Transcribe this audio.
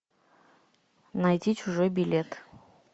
найти чужой билет